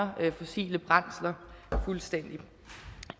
fossile brændsler fuldstændig